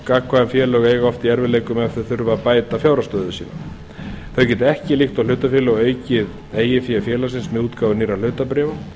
gagnkvæm félög eiga oft í erfiðleikum ef þau þurfa að bæta fjárhagsstöðu sína þau geta ekki líkt og hlutafélög aukið eigið fé félagsins með útgáfu nýrra hlutabréfa